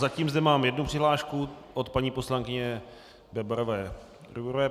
Zatím zde mám jednu přihlášku od paní poslankyně Bebarové Rujbrové.